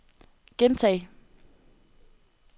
gentag